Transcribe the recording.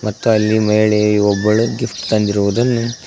ಮತ್ತು ಅಲ್ಲಿ ಮಹಿಳೆಯು ಒಬ್ಬಳು ಗಿಫ್ಟ್ ತಂದಿರುವುದನ್ನು--